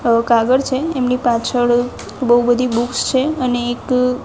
અહ કાગળ છે એમની પાછળ બઉ બધી બૂક્સ છે. અને એક --